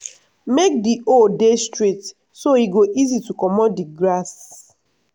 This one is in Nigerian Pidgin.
make di hole dey straight so e go easy to comot di grass.